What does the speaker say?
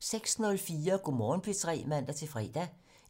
06:04: Go' Morgen P3 (man-fre)